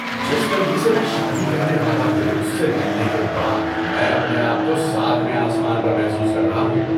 جس لڑکی سے میں شادی کرنے والا ہوں اس سے ملنے کے بعد میں اپنے آپ کو ساتویں آسمان پر محسوس کر رہا ہوں۔